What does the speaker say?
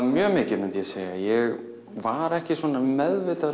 mjög mikið ég var ekki meðvitaður